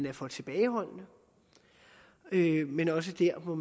er for tilbageholdende men også der må